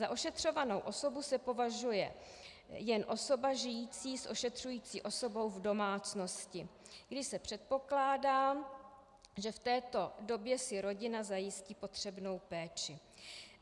Za ošetřovanou osobu se považuje jen osoba žijící s ošetřující osobou v domácnosti, kdy se předpokládá, že v této době si rodina zajistí potřebnou péči.